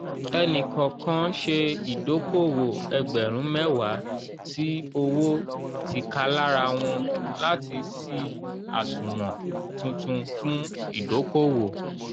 ẹni kọ̀ọ̀kan ṣe ìdókòwò ẹgbẹ̀rún mẹ́wàá tí owó tíkalárawon láti sì àṣùwọ̀n tuntun fún ìdókòwò